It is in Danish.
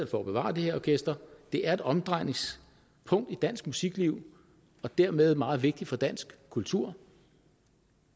for at bevare det her orkester det er et omdrejningspunkt i dansk musikliv og dermed meget vigtigt for dansk kultur